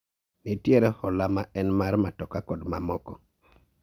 Nitiere hola ma en mar matoka kod mamoko